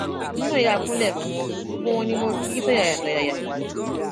èmi náà yáa kúnlẹ fún wọn gbogbo wọn ni mo ki tọyàyàtọyàyà